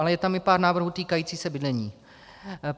Ale je tam i pár návrhů týkajících se bydlení.